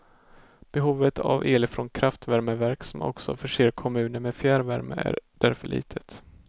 Behovet av el från kraftvärmeverk som också förser kommuner med fjärrvärme är därför litet.